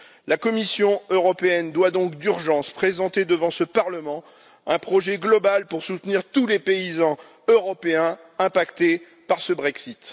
La Commission européenne doit donc d'urgence présenter devant ce Parlement un projet global pour soutenir tous les paysans européens touchés par ce Brexit.